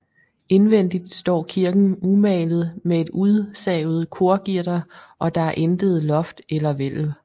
Indvendigt står kirken umalet med et udsavet korgitter og der er intet loft eller hvælv